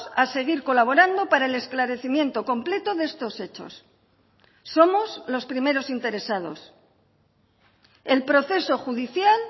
a seguir colaborando para el esclarecimiento completo de estos hechos somos los primeros interesados el proceso judicial